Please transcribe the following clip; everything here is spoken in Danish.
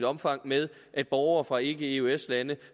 omfang med at borgere fra ikke eøs lande